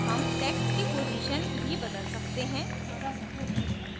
हम text की position भी बदल सकते हैं